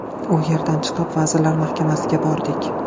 U yerdan chiqib Vazirlar Mahkamasiga bordik.